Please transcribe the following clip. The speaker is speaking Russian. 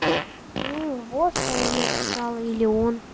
вот что она написала или он